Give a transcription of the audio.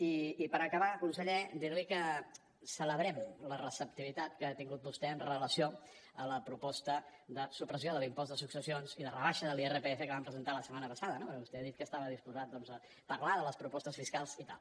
i per acabar conseller dir li que celebrem la receptivitat que ha tingut vostè amb relació a la proposta de supressió de l’impost de successions i de rebaixa de l’irpf que vam presentar la setmana passada no perquè vostè ha dit que estava disposat doncs a parlar de les propostes fiscals i tal